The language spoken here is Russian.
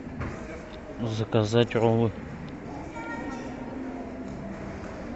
заказать роллы